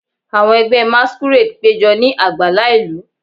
Awọn ẹgbẹ masquerade pejọ ni agbala ilu,